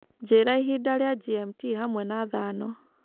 njĩra ĩhĩnda rĩa g.m.t hamwe na thano